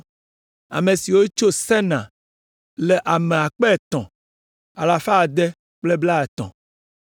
Ame siwo tso Senaa le ame akpe etɔ̃ alafa ade kple blaetɔ̃ (3,630).